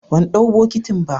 bandau bokitin ba.